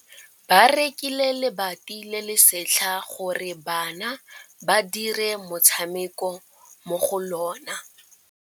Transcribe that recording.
Ba rekile lebati le le setlha gore bana ba dire motshameko mo go lona.